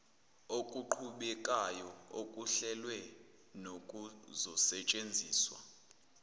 okuqhubekayo okuhlelwe nokuzosetshenziswa